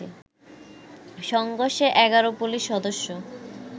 সংঘর্ষে১১ police সদস্য